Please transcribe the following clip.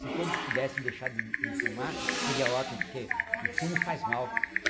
Se todos pudessem deixar de de fumar, seria ótimo, porque o fumo faz mal.